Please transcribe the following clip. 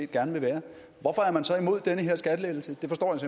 gerne vil være med til